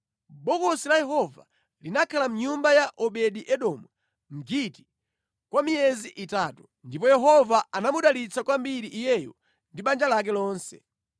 Bokosi la Yehova linakhala mʼnyumba ya Obedi-Edomu Mgiti kwa miyezi itatu, ndipo Yehova anamudalitsa kwambiri iyeyo ndi banja lake lonse.